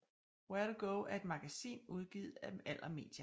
Where2go er et magasin udgivet af Aller Media